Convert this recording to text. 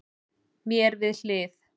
Mér við hlið